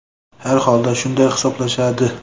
Har holda shunday hisoblashadi.